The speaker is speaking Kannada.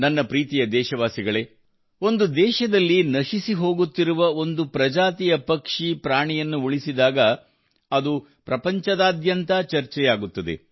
ನನ್ನ ಪ್ರೀತಿಯ ದೇಶವಾಸಿಗಳೇ ಒಂದು ದೇಶದಲ್ಲಿ ನಶಿಸಿ ಹೋಗುತ್ತಿರುವ ಒಂದು ಪ್ರಜಾತಿಯ ಪಕ್ಷಿ ಪ್ರಾಣಿಯನ್ನು ಉಳಿಸಿದಾಗ ಅದು ಪ್ರಪಂಚದಾದ್ಯಂತ ಚರ್ಚೆಯಾಗುತ್ತದೆ